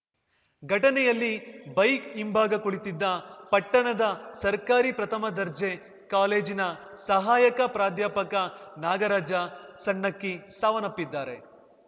ಘಟನೆಯಲ್ಲಿ ಬೈಕ್‌ ಹಿಂಭಾಗ ಕುಳಿತಿದ್ದ ಪಟ್ಟಣದ ಸರ್ಕಾರಿ ಪ್ರಥಮ ದರ್ಜೆ ಕಾಲೇಜಿನ ಸಹಾಯಕ ಪ್ರಾಧ್ಯಾಪಕ ನಾಗರಾಜ ಸಣ್ಣಕ್ಕಿ ಸಾವನ್ನಪ್ಪಿದ್ದಾರೆ